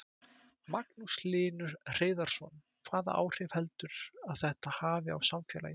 Magnús Hlynur Hreiðarsson: Hvaða áhrif heldurðu að þetta hafi á samfélagið?